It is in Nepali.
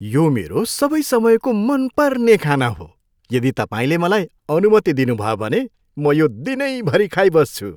यो मेरो सबै समयको मनपर्ने खाना हो, यदि तपाईँले मलाई अनुमति दिनुभयो भने, म यो दिनैभरि खाइबस्छु।